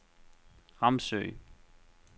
Ramsø